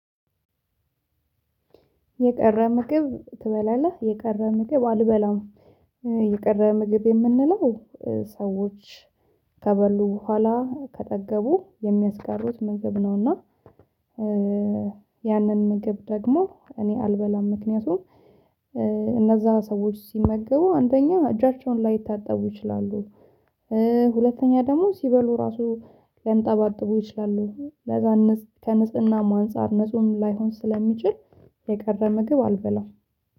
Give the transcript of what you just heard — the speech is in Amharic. የቀረ ምግብ ትበላለህ የቀረ ምግብ አልበላም የቀረ ምግብ የምንለው ሰዎች ከበሉ በኋላ ከጠገቡ የሚያስቀሩት ምግብ ነውና። ያንን ምግብ ደግሞ እኔ አልበላም ምክንያቱም ሰዎች ሲመገቡ አንደኛ እጃቸውን ላይታጠቡ ይችላሉ። ሁለተኛ ደግሞ ሲበሉ ራሱ ሊያንጠባጥቡ ይችላሉ ለዛ ከንፅናም አንፃር ንጹህም ላይሆን ስለሚችል። የቀረ ምግብ አልበላም